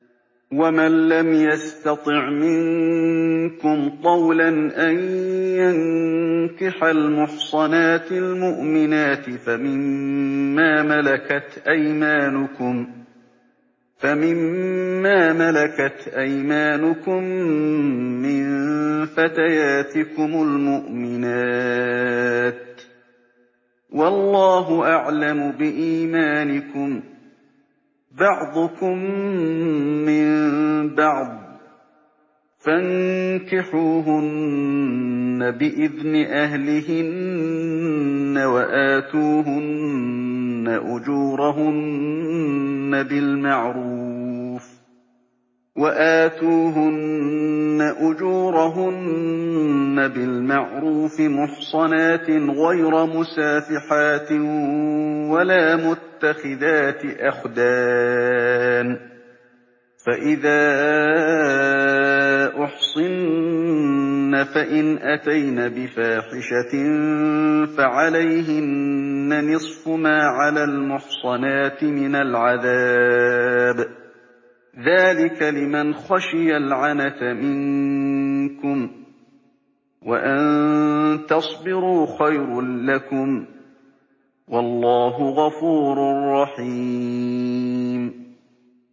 وَمَن لَّمْ يَسْتَطِعْ مِنكُمْ طَوْلًا أَن يَنكِحَ الْمُحْصَنَاتِ الْمُؤْمِنَاتِ فَمِن مَّا مَلَكَتْ أَيْمَانُكُم مِّن فَتَيَاتِكُمُ الْمُؤْمِنَاتِ ۚ وَاللَّهُ أَعْلَمُ بِإِيمَانِكُم ۚ بَعْضُكُم مِّن بَعْضٍ ۚ فَانكِحُوهُنَّ بِإِذْنِ أَهْلِهِنَّ وَآتُوهُنَّ أُجُورَهُنَّ بِالْمَعْرُوفِ مُحْصَنَاتٍ غَيْرَ مُسَافِحَاتٍ وَلَا مُتَّخِذَاتِ أَخْدَانٍ ۚ فَإِذَا أُحْصِنَّ فَإِنْ أَتَيْنَ بِفَاحِشَةٍ فَعَلَيْهِنَّ نِصْفُ مَا عَلَى الْمُحْصَنَاتِ مِنَ الْعَذَابِ ۚ ذَٰلِكَ لِمَنْ خَشِيَ الْعَنَتَ مِنكُمْ ۚ وَأَن تَصْبِرُوا خَيْرٌ لَّكُمْ ۗ وَاللَّهُ غَفُورٌ رَّحِيمٌ